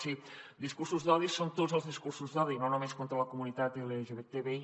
sí discursos d’odi són tots els discursos d’odi i no només contra la comunitat lgtbi